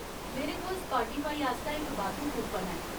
मेरे कोल स्पाटीफाई आस्तै इक बाद्धू कूपन ऐ।